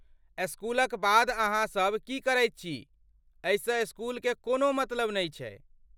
स्कूलक बाद अहाँ सभ की करैत छी एहिसँ स्कूलके कोनो मतलब नहि छै।